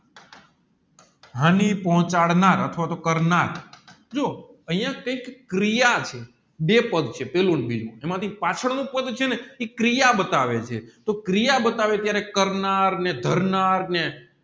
હની પોહ્ચાડનાર અથવા તોહ કરનાર જોવો અહીંયા કૈક ક્રિયા છે બે પદ્ય છે પેલું ને બીજું એમાં થી પાછળ નું પઢ છેને એ ક્રિયા બતાવે છે તો ક્રિય બતાવે ટાયર કરનાર ને ધરનાર ને